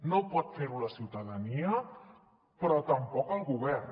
no pot fer ho la ciutadania però tampoc el govern